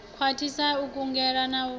khwathisa u kungela na u